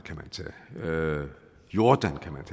og jordan kan man